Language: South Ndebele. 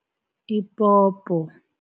Ipopo.